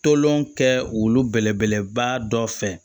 Tolon kɛ olu belebeleba dɔ fɛ